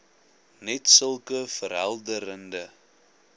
net sulke verhelderende